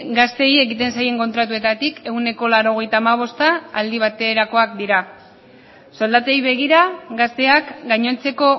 gazteei egiten zaien kontratuetatik ehuneko laurogeita hamabosta aldi baterakoak dira soldatei begira gazteak gainontzeko